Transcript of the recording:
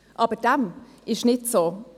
Aber dem ist nicht so.